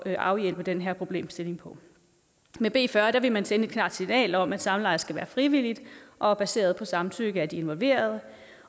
at afhjælpe den her problemstilling med b fyrre vil man sende et klart signal om at samleje skal være frivilligt og baseret på samtykke af de involverede